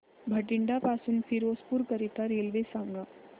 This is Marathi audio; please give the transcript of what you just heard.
बठिंडा पासून फिरोजपुर करीता रेल्वे सांगा